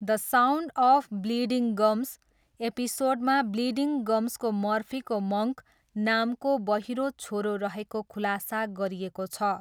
The sound of bleeding gums' एपिसोडमा bleeding गम्सको मर्फीको मङ्क नामको बहिरो छोरो रहेको खुलासा गरिएको छ।